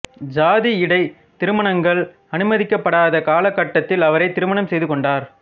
சாதியிடை திருமணங்கள் அனுமதிக்கப்படாத காலகட்டத்தில் அவரை திருமணம் செய்து கொண்டார்